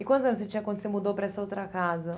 E quantos anos você tinha quando você mudou para essa outra casa?